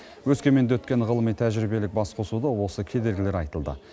өскеменде өткен ғылыми тәжірибелік басқосуда осы кедергілер айтылды